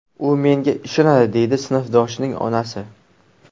U menga ishonadi”, deydi sinfdoshining onasi.